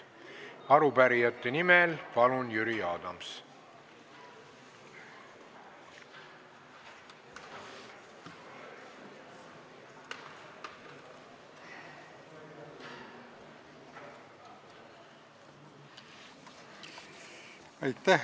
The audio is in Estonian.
Arupärijate nimel palun Jüri Adams!